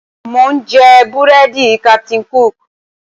Mò ń jẹ búrẹ́dì Captain Cook